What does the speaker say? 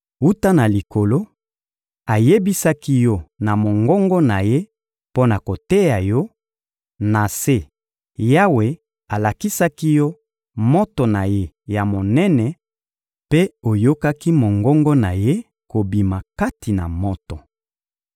Wuta na likolo, ayebisaki yo na mongongo na Ye mpo na koteya yo; na se, Yawe alakisaki yo moto na ye ya monene mpe oyokaki mongongo na Ye kobima kati na moto.